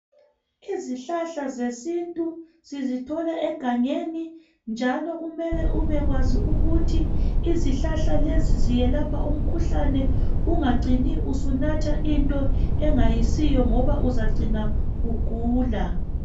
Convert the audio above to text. Izihlahla zesintu sizithola egangeni njalo kumele ubekwazi ukuthi izihlahla lezi ziyelapha wuphi umkhuhlane ungacini usinatha into engayisiyo ngoba uyacina usugula.